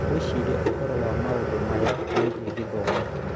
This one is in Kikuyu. Wĩcirie ũhoro wa maũndũ maya megiĩ gĩthomo.